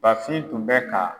BAFIN tun bɛ ka.